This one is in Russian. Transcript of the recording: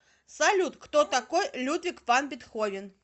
салют кто такой людвиг ван бетховен